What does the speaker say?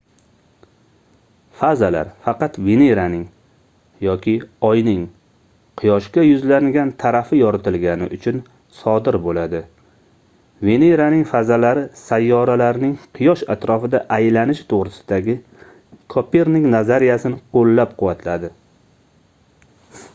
fazalar faqat veneraning yoki oyning quyoshga yuzlangan tarafi yoritilgani uchun sodir bo'ladi. veneraning fazalari sayyoralarning quyosh atrofida aylanishi to'g'risidagi kopernik nazariyasini qo'llab-quvvatladi